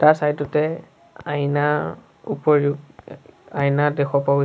তাৰ চাইদ তে আইনাৰ উপৰিও আইনা দেখা পোৱা গৈ --